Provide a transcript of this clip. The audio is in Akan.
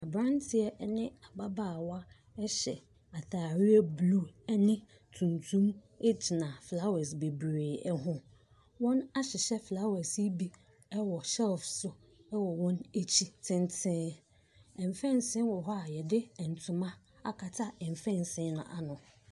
Aberanteɛ ne ababaawa hyɛ atareɛ blue ne tuntum gyina flowers bebree ho. Wɔahyehyɛ flowers yi bi wɔ shelves so wɔ wɔn akyi tentem. Mfɛnsee wɔ hɔ a wɔde ntoma akata mfɛnse no ano.